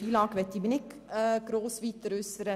FILAG möchte ich mich nicht weiter äussern.